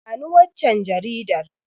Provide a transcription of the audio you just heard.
Bani waccan Jaridar